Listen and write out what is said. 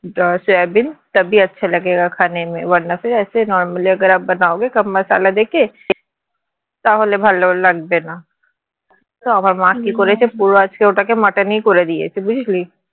. normal তাহলে ভালো লাগবে না তো আমার মা কি করেছে পুরো আজকে ওটাকে মটন ই করে দিয়েছে বুঝলি